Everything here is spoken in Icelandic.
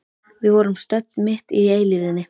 Við vorum stödd mitt í eilífðinni.